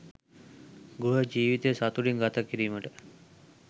ගෘහ ජීවිතය සතුටින් ගත කිරීමට